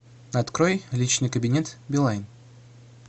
открой личный кабинет билайн